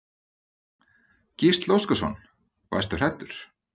Gísli Óskarsson: Varstu hræddur?